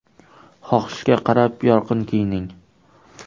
Xohishga qarab yorqin kiyining.